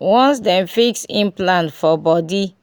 once dem fix implant for body